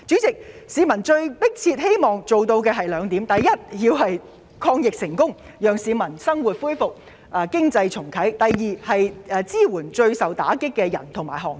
市民迫切希望政府做到兩件事：第一，抗疫成功，讓市民生活回復正常，重啟經濟；第二，支援最受打擊的市民和行業。